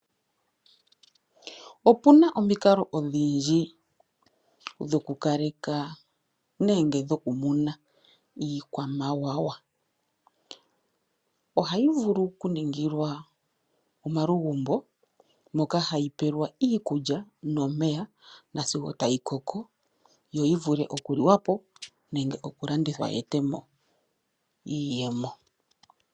Opuna omikalo odhindji dhokukaleka nenge dhokumuna iikwamawawa. Ohayi vulu okuningilwa omalugumbo moka hayi pelwa iikulya nomeya sigo tayi koko, yo yivule okuliwa nenge okulandithwa ye etepo iiyemo.